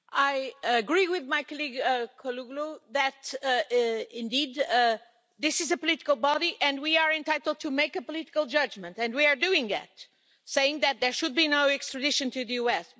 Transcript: I agree with my colleague Kouloglou that, indeed, this is a political body and we are entitled to make a political judgment, and we are doing that, saying that there should be no extradition to the US.